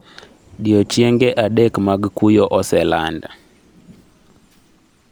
Diochienge adek mag kuyo oseland